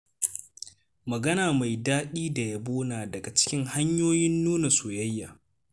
Magana mai daɗi da yabo na daga cikin hanyoyin nuna soyayya.